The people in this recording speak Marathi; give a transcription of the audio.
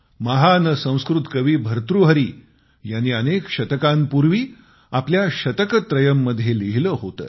महान संस्कृत कवी भर्तृहरी यांनी अनेक शतकांपूर्वी आपल्या शतकत्रयम मध्ये लिहिले होते